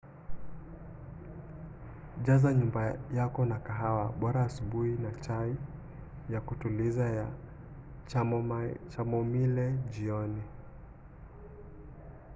jaza nyumba yako na kahawa bora asubuhi na chai ya kutuliza ya chamomile jioni